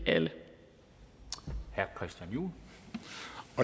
er jo